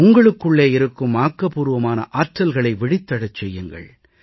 உங்களுக்குள்ளே இருக்கும் ஆக்கபூர்வமான ஆற்றல்களை விழித்தெழச் செய்யுங்கள்